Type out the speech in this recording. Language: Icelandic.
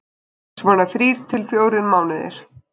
Svona þrír til fjórir mánuðir.